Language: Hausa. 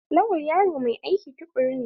Lawal yaro mai aiki tukuru ne?